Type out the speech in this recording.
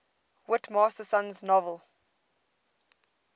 whit masterson's novel